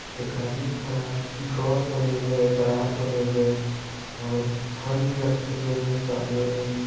एक आदमी खड़ा है ड्रॉअर बने हुए है दराज बने हुए है और फल भी रखे हुए है सामने में ।